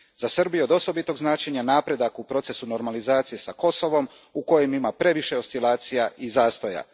Za Srbiju je od osobitog značenja napredak u procesu normalizacije s Kosovom u kojem ima previše oscilacija i zastoja.